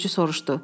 Sürücü soruşdu.